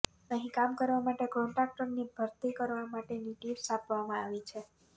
અહીં કામ કરવા માટે કોન્ટ્રાક્ટરની ભરતી કરવા માટેની ટિપ્સ આપવામાં આવી છે